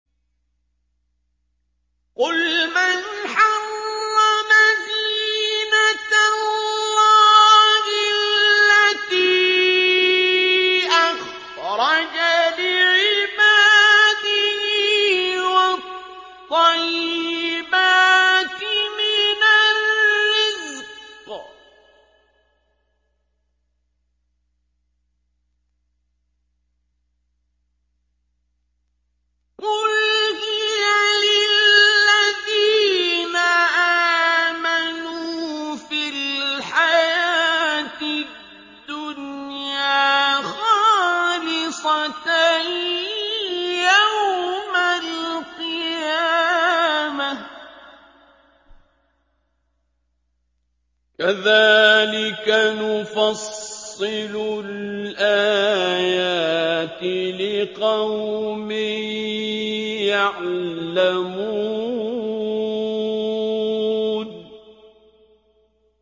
قُلْ مَنْ حَرَّمَ زِينَةَ اللَّهِ الَّتِي أَخْرَجَ لِعِبَادِهِ وَالطَّيِّبَاتِ مِنَ الرِّزْقِ ۚ قُلْ هِيَ لِلَّذِينَ آمَنُوا فِي الْحَيَاةِ الدُّنْيَا خَالِصَةً يَوْمَ الْقِيَامَةِ ۗ كَذَٰلِكَ نُفَصِّلُ الْآيَاتِ لِقَوْمٍ يَعْلَمُونَ